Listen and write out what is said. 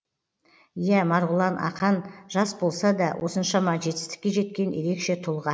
иә марғұлан ақан жас болса да осыншама жетістікке жеткен ерекше тұлға